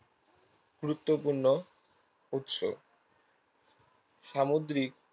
গুরুত্বপূর্ণ উৎস সামুদ্রিক